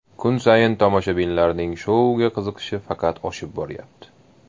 Kun sayin tomoshabinlarning shouga qiziqishi faqat oshib boryapti.